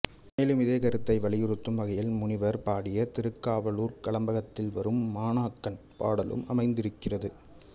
மேலும் இதே கருத்தை வலியுறுத்தும் வகையில் முனிவர் பாடிய திருக்காவலூர்க் கலம்பகத்தில் வரும் மாணாக்கன் பாடலும் அமைந்திருக்கிறது